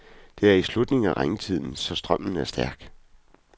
Det er i slutningen af regntiden, så strømmen er stærk.